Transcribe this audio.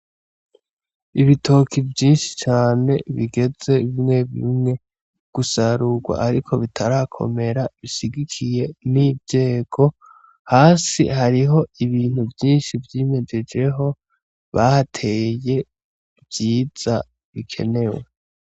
Ibitoki vyishi cane bigeze bimwebimwe gusarurwa ariko bitarakomera bishigikiye n'inzego hasi hariho ibintu vyishi vyimejeje ho bahateye vyiza bikenewe.